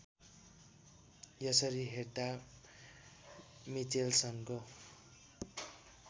यसरी हेर्दा मिचेल्सनको